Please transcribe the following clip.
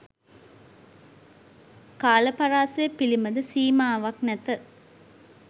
කාල පරාසය පිළිබඳ සීමාවක් නැත